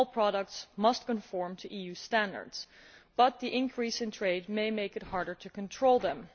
All products must conform to EU standards, but the increase in trade may make it harder to control them.